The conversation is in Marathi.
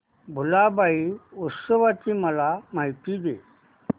भुलाबाई उत्सवाची मला माहिती दे